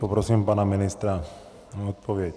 Poprosím pana ministra o odpověď.